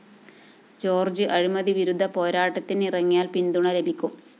George അഴിമതിവിരുദ്ധ പോരാട്ടത്തിനിറങ്ങിയാല്‍ പിന്തുണ ലഭിക്കും